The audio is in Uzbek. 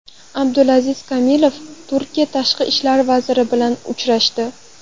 Abdulaziz Kamilov Turkiya tashqi ishlar vaziri bilan uchrashdi.